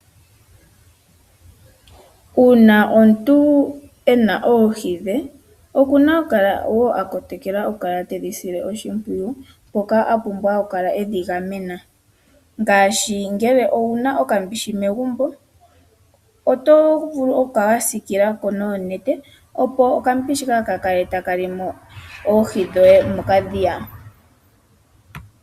Uuna omuntu ena oohi dhe , oku na okukala okudhi kotokela nokudhi sila oshimpwiyu mpoka apumbwa okukala edhi gamena . Ngaashi ngele owuna okambishi megumbo oto vulu okukala wasiikulako noonete opo okambishi kaaka kale taka limo oohi dhoye mokadhiya.